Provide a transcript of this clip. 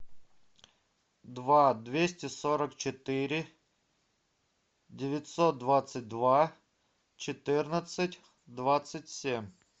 два двести сорок четыре девятьсот двадцать два четырнадцать двадцать семь